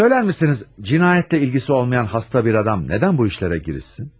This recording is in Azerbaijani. Söylərmisiniz, cinayətlə ilgisi olmayan xəstə bir adam nədən bu işlərə girişsin?